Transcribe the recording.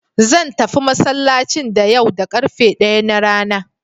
Zan tafi masallacin da yau da ƙarfe ɗaya na rana.